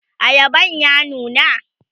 ayaban ya nuna?